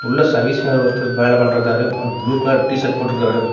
உள்ள service boy ஒருத்தர் வேல பண்றந்தாரு அவரு ப்ளூ கலர் டி_ஷர்ட் போட்ருக்காரு.